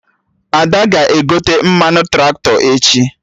Ada ga-egote mmanụ Traktọ echi